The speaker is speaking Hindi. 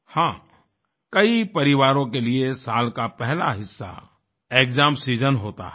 हां कई परिवारों के लिए साल का पहला हिस्सा एक्साम सीजन होता है